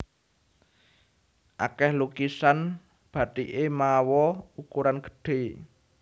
Akèh lukisan bathiké mawa ukuran gedhé